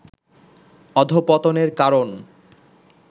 অধঃপতনের কারণ